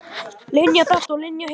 Linja þetta og Linja hitt.